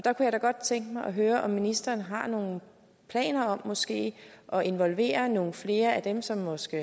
jeg kunne da godt tænke mig at høre om ministeren har nogle planer om måske at involvere nogle flere af dem som måske